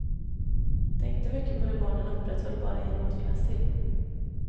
Tänkte mycket på det barnen upprätthöll bara genom att finnas till.